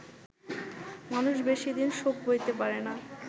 মানুষ বেশিদিন শোক বইতে পারে না